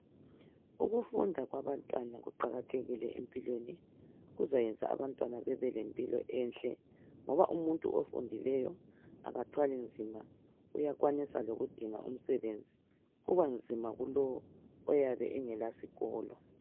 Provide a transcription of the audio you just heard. Ukufunda kwabantwana kuqakathekile empilweni. Kuzayenza abantwana bebelempilo enhle, ngoba umuntu ofundileyo akathwali nzima, uyakwanisa lokudinga umsebenzi. Kubanzima kulowo oyabe engela sikolo.